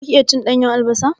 Zaka iya cin ɗanyan albasa?